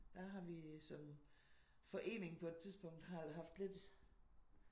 Der har vi som forening på et tidspunkt har har haft lidt